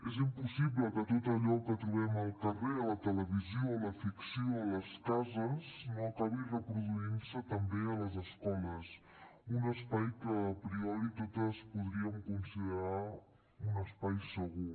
és impossible que tot allò que trobem al carrer a la televisió a la ficció a les cases no acabi reproduint se també a les escoles un espai que a priori totes podríem considerar un espai segur